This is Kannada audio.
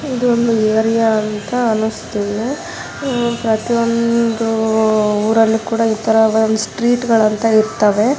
ಇದೊಂದು ಏರಿಯಾ ಅಂತ ಅನ್ನಿಸ್ತಿದೆ. ಅಹ್ ಪ್ರತಿಯೊಂದು ಊರಲ್ಲಿ ಇತರ ಒಂದ್ ಸ್ಟ್ರೀಟ್ ಗಳ ಅಂತ ಇರ್ತವೆ.